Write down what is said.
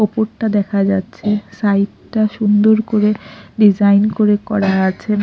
ওপরটা দেখা যাচ্ছে সাইডটা সুন্দর করে ডিজাইন করে করা আছে।